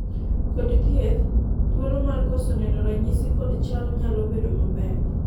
kod thieth, thuolo mar koso neno ranyisi kod chal nyalo bedo maber